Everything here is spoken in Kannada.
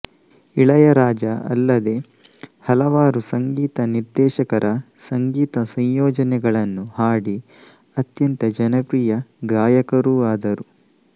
ಇಳಯರಾಜಾ ಅಲ್ಲದೆ ಹಲವಾರು ಸಂಗೀತ ನಿರ್ದೇಶಕರ ಸಂಗೀತ ಸಂಯೋಜನೆಗಳನ್ನು ಹಾಡಿ ಅತ್ಯಂತ ಜನಪ್ರಿಯ ಗಾಯಕರೂ ಆದರು